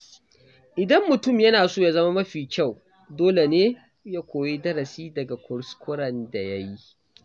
Idan mutum yana so ya zama mafi kyau, dole ne ya koyi darasi daga kuskuren da ya yi.